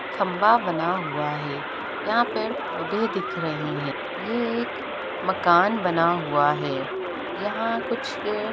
खंभा बना हुआ है यहाँ पेड़-पौधे दिख रहे हैं ये एक मकान बना हुआ है| यहाँ कुछ--